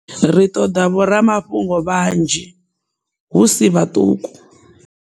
Ri ṱoḓa vhoramafhungo vhanzhi, hu si vhaṱuku.